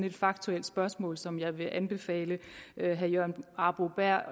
et faktuelt spørgsmål som jeg vil anbefale herre jørgen arbo bæhr